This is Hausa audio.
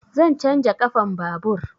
Zan canja ƙafan babur.